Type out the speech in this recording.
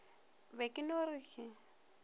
be ke no re ke